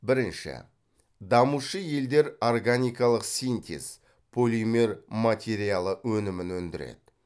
бірінші дамушы елдер органикалық синтез полимер материалы өнімін өндіреді